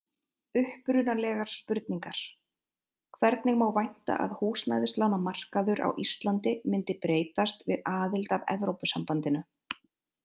Upprunalegar spurningar: Hvernig má vænta að húsnæðislánamarkaður á Íslandi myndi breytast við aðild að Evrópusambandinu?